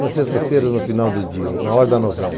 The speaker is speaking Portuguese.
Nas sextas-feiras, no final do dia, na hora da novela.